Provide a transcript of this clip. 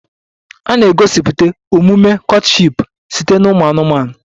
A na-egosipụtakwa omume courtship site na ụmụ anụmanụ